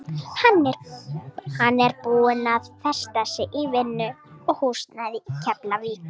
Hann er búinn að festa sig í vinnu og húsnæði í Keflavík.